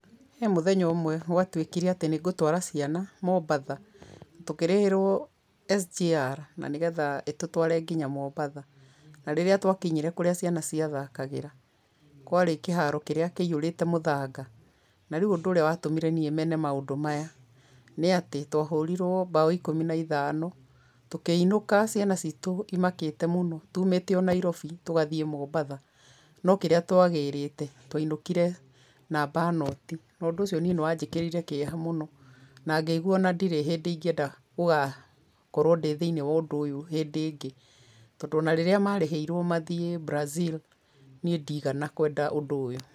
He mũthenya ũmwe gwatuĩkire atĩ nĩngũtwara ciana Mombatha tũkĩrĩhĩrwo SGR na nĩgetha ĩtũtware nginya Mombatha na rĩrĩa twakinyire kũrĩa ciana cia thakagĩra kwarĩ kĩharo kĩrĩa kĩahũrĩte mũthanga na rĩũ ũndũ ũrĩa watũmire mene maũndũ maya nĩ atĩ twahũriruo mbaũ ikũmi na ithano tũkĩinũka ciana citũ imakĩte mũno tumĩte o Nairobi tũgathiĩ o Mombatha no kĩrĩa twagĩrĩte twainũkire namba noti na ũndũ ũcio niĩ nĩwanjĩkĩrire kĩeha mũno na ngĩiguaa ona ndirĩ hĩndĩ ingienda gũgakorwo thiinĩ wa ũndũ ũyũ hĩndĩ ĩngĩ